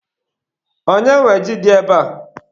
Onye nwe ji dị ebe a?